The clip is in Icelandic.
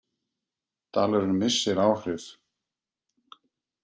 Dalurinn missir áhrif